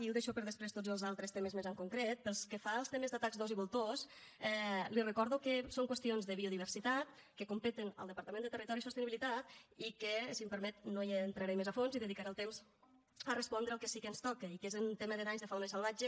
i deixo per a després tots els altres temes més en concret pel que fa als temes d’atacs d’ós i voltors li recordo que són qüestions de biodiversitat que competeixen al departament de territori i sostenibilitat i que si m’ho permet no hi entraré més a fons i dedicaré el temps a respondre el que sí que ens toca i que és en tema de danys de fauna salvatge